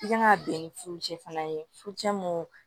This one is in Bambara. I kan ka bɛn ni furucɛ fana ye furucɛ mun